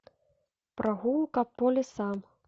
прогулка по лесам